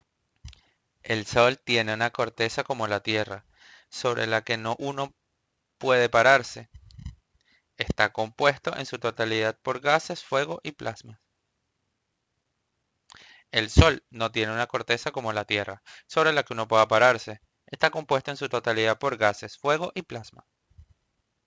el sol no tiene una corteza como la tierra sobre la que uno pueda pararse está compuesto en su totalidad por gases fuego y plasma